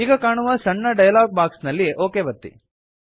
ಈಗ ಕಾಣುವ ಸಣ್ಣ ಡಯಲಾಗ್ ಬಾಕ್ಸ್ ನಲ್ಲಿ ಒಕ್ ಒತ್ತಿ